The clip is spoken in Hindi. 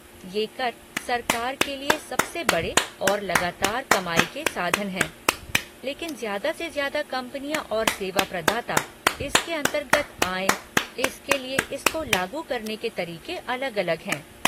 ये कर सरकार के लिए सबसे बड़े और लगातार कमाई के साधन हैं, लेकिन ज़्यादा से ज़्यादा कंपनियाँ और सेवा प्रदाता इसके अंतर्गत आएँ, इसके लिये इसको लागू करने के तरीक़े अलग अलग हैं।